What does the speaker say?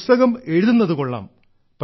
പുസ്തകം എഴുതുന്നതു കൊള്ളാം